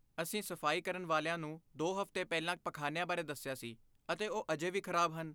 ਅਸੀਂ ਸਫਾਈ ਕਰਨ ਵਾਲਿਆਂ ਨੂੰ ਦੋ ਹਫ਼ਤੇ ਪਹਿਲਾਂ ਪਖਾਨਿਆਂ ਬਾਰੇ ਦੱਸਿਆ ਸੀ ਅਤੇ ਉਹ ਅਜੇ ਵੀ ਖ਼ਰਾਬ ਹਨ।